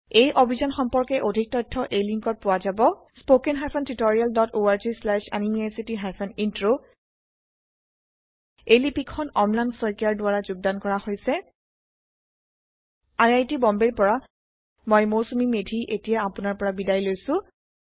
এই অভিযান সম্পৰ্কে অধিক তথ্য এই লিংকত পোৱা যাব spoken hyphen tutorial dot org slash এনএমইআইচিত হাইফেন ইন্ট্ৰ এই লিপি খন অম্লান শইকীয়াৰ দ্ৱাৰা যোগদান কৰা হৈছে160 আই আই টি বম্বেৰ মী মৌচুমী মেধি আপোনাৰ পৰা বিদায় লৈছো